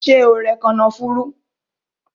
Ṣé o rẹ kànáfùrú?